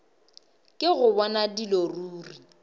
ke go bona dilo ruri